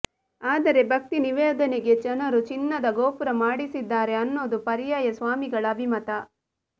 ಆದರೆ ಭಕ್ತಿ ನಿವೇಧನೆಗೆ ಜನರು ಚಿನ್ನದ ಗೋಪುರ ಮಾಡಿಸಿದ್ದಾರೆ ಅನ್ನೋದು ಪರ್ಯಾಯ ಸ್ವಾಮಿಗಳ ಅಭಿಮತ